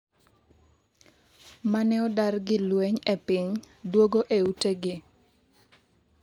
mane odar gi lweny e piny duogo e ute gi